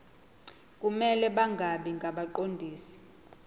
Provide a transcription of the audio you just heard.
kumele bangabi ngabaqondisi